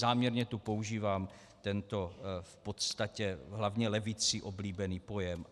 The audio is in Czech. Záměrně tu používám tento v podstatě hlavně levicí oblíbený pojem.